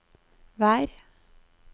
vær